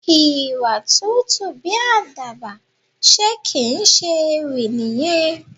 Ìwà tútù bí Àdàbà, ṣe kì ń ṣe ewì nìyẹn?